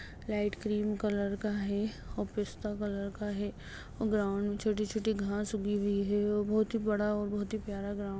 light cream colour का है और पिस्ता कलर का है और ग्राउंड में छोटी-छोटी घास उगी हुई है और बहोत ही बड़ा और बहोत ही प्यारा ग्राउंड --